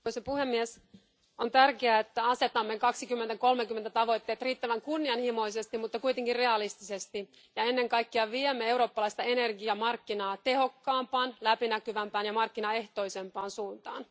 Arvoisa puhemies, on tärkeää että asetamme vuoden 2030 tavoitteet riittävän kunnianhimoisesti, mutta kuitenkin realistisesti, ja ennen kaikkea viemme eurooppalaista energiamarkkinaa tehokkaampaan, läpinäkyvämpään ja markkinaehtoisempaan suuntaan.